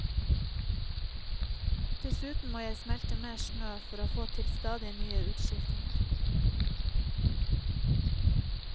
Dessuten må jeg smelte mer smø for å få til stadig nye utskiftinger.